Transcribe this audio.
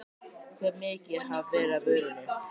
Hve mikið hafi verið af vörunni?